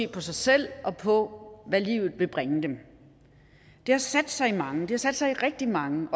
på sig selv og på hvad livet vil bringe dem det har sat sig i mange det sat sig i rigtig mange